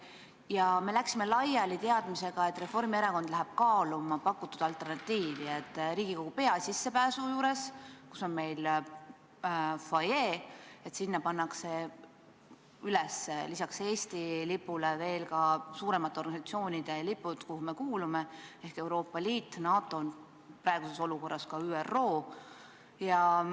Ja me läksime laiali teadmisega, et Reformierakond läheb kaaluma pakutud alternatiivi, et Riigikogu peasissepääsu juures, kus on meil fuajee, pannakse üles lisaks Eesti lipule veel ka nende suuremate organisatsioonide lipud, kuhu me kuulume: Euroopa Liit, NATO, praeguses olukorras on tähtis ka ÜRO.